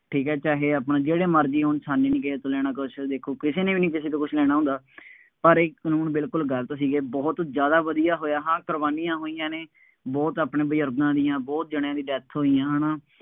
ਠੀਕ ਹੈ, ਚਾਹੇ ਆਪਣਾ ਜਿਹੜੇ ਮਰਜ਼ੀ ਹੋਣ, ਸਾਨੂੰ ਨਹੀਂ ਲੈਣਾ ਕਿਸੇ ਤੋਂ ਕੁੱਛ, ਦੇਖੋ ਕਿਸੇ ਨੇ ਵੀ ਨਹੀਂ ਕਿਸੇ ਤੋਂ ਕੁੱਛ ਲੈਣਾ ਹੁੰਦਾ, ਪਰ ਇਹ ਕਾਨੂੰਨ ਬਿਲਕੁੱਲ ਗਲਤ ਸੀ, ਇਹ ਬਹੁਤ ਜ਼ਿਆਦਾ ਵਧੀਆਂ ਹੋਇਆ, ਹਾਂ ਕੁਰਬਾਨੀਆਂ ਹੋਈਆਂ ਨੇ, ਬਹੁਤ ਆਪਣੇ ਬਜ਼ੁਰਗਾਂ ਦੀਆਂ, ਬਹੁਤ ਜਣਿਆਂ ਦੀਆ death ਹੋਈਆਂ। ਹੈ ਨਾ,